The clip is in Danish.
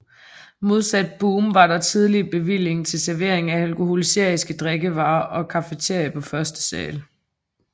Modsat Boom var der tillige bevilling til servering af alkoholiske drikkevarer og cafeteria på første sal